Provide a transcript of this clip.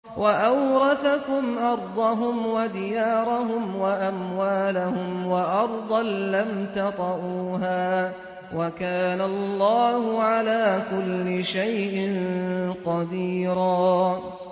وَأَوْرَثَكُمْ أَرْضَهُمْ وَدِيَارَهُمْ وَأَمْوَالَهُمْ وَأَرْضًا لَّمْ تَطَئُوهَا ۚ وَكَانَ اللَّهُ عَلَىٰ كُلِّ شَيْءٍ قَدِيرًا